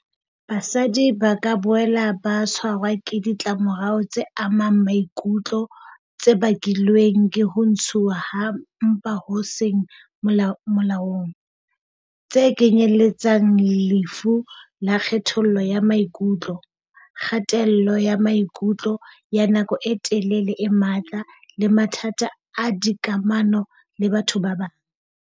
Basadi ba ka boela ba tshwarwa ke ditlamorao tse amang maikutlo tse bakilweng ke ho ntshuwa ha mpa ho seng molaong, tse kenyeletsang lefu la kgatello ya maikutlo, kgatello ya maikutlo ya nako e telele e matla le mathata a dikamano le batho ba bang.